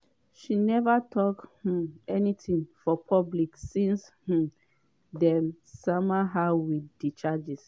she neva tok um anytin for public since um dem sama her wit di charges.